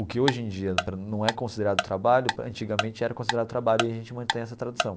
O que hoje em dia não é considerado trabalho, antigamente era considerado trabalho e a gente mantém essa tradição.